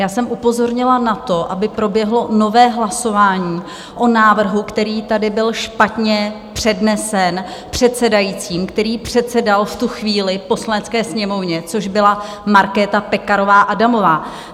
Já jsem upozornila na to, aby proběhlo nové hlasování o návrhu, který tady byl špatně přednesen předsedajícím, který předsedal v tu chvíli Poslanecké sněmovně, což byla Markéta Pekarová Adamová.